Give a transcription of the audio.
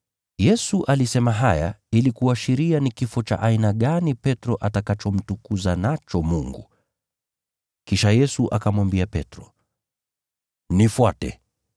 Yesu alisema haya ili kuashiria ni kifo cha aina gani Petro atakachomtukuza nacho Mungu. Kisha Yesu akamwambia Petro, “Nifuate!”